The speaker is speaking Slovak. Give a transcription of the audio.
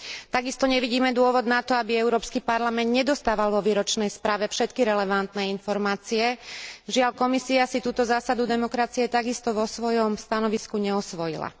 Takisto nevidíme dôvod na to, aby Európsky parlament nedostával vo výročnej správe všetky relevantné informácie žiaľ, Komisia si túto zásadu demokracie takisto vo svojom stanovisku neosvojila.